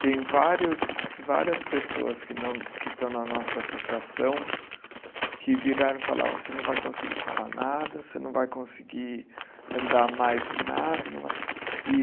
Tem várias várias pessoas que não, que estão na nossa associação que viraram e falaram, você não vai conseguir falar nada, você não vai conseguir andar mais nada, não vai. E